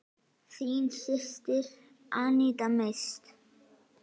Þín systir, Aníta Mist.